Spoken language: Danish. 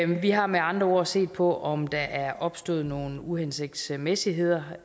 har med andre ord set på om der er opstået nogle uhensigtsmæssigheder